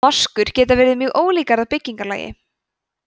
moskur geta verið mjög ólíkar að byggingarlagi